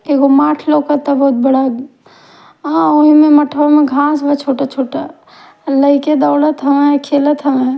एगो माठ लौकता उहि में घास बा और लाइका दौड़त हन और खेलत हन --